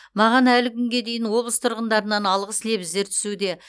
маған әлі күнге дейін облыс тұрғындарынан алғыс лебіздер түсуде